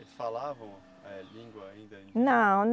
Eles falavam, eh, língua ainda indígena? Não